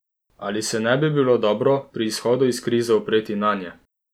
Ali se ne bi bilo dobro pri izhodu iz krize opreti nanje?